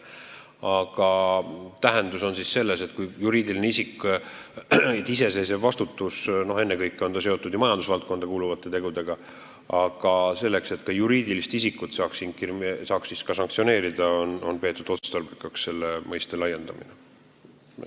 Aga juriidilise isiku iseseisva vastutuse tähendus on siin tegelikult selles, et ennekõike on ta ju seotud majandusvaldkonda kuuluvate tegudega ja selleks, et ka juriidilise isiku suhtes saaks sanktsioone rakendada, on peetud otstarbekaks seda mõistet laiendada.